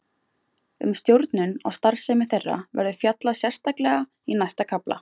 Um stjórnun á starfsemi þeirra verður fjallað sérstaklega í næsta kafla.